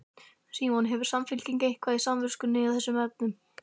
Símon: Hefur Samfylkingin eitthvað á samviskunni í þessum efnum?